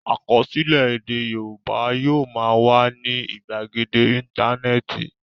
Àkọsílẹ̀ èdè Yorùbá yóò máa wà ní ìgbàgede Íńtánẹ́ẹ̀tì.